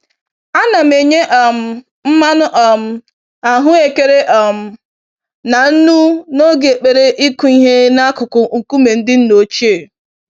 Ana m enye um mmanụ um ahụekere um na nnu n'oge ekpere ịkụ ihe n'akụkụ nkume ndị nna ochie.